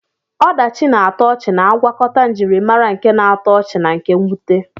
Ọdachi na-atọ ọchị na-agwakọta njirimara nke na-atọ ọchị na nke mwute.